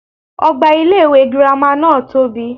Ogbà ilé iwé girama náà tóbi